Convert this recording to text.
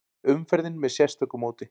Umferðin með sérstöku móti